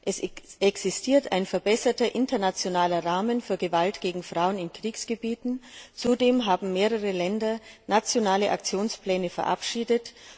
Es existiert ein verbesserter internationaler Rahmen für Gewalt gegen Frauen in Kriegsgebieten, zudem haben mehrere Länder nationale Aktionspläne verabschiedet.